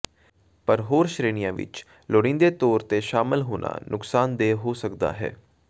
ਪਰ ਹੋਰ ਸ਼੍ਰੇਣੀਆਂ ਵਿਚ ਲੋੜੀਂਦੇ ਤੌਰ ਤੇ ਸ਼ਾਮਲ ਹੋਣਾ ਨੁਕਸਾਨਦੇਹ ਹੋ ਸਕਦਾ ਹੈ